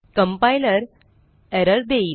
compiler error देईल